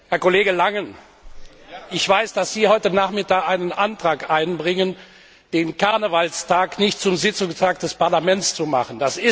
Herr Kollege Langen, ich weiß, dass Sie heute Nachmittag einen Antrag einbringen, den Karnevalstag nicht zum Sitzungstag des Parlaments zu machen.